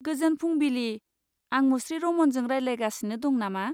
गोजोन फुंबिलि, आं मुश्री रमनजों रायज्लायगासिनि दं नामा?